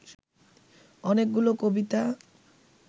অনেকগুলো কবিতা